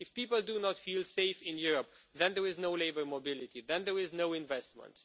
If people do not feel safe in Europe, then there is no labour mobility, no investment.